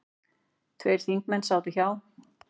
Tveir þingmenn sátu hjá.